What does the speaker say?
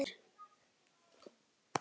Án orða.